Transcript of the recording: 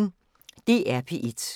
DR P1